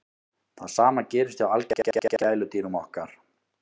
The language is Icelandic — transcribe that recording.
það sama gerist hjá algengustu gæludýrum okkar